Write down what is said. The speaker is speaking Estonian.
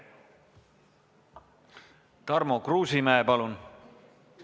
Tarmo Kruusimäe, palun!